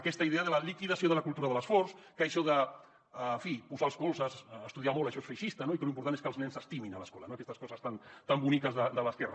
aquesta idea de la liquidació de la cultura de l’esforç que això de en fi posar els colzes estudiar molt això és feixista no i que lo important és que els nens s’estimin a l’escola no aquestes coses tan boniques de l’esquerra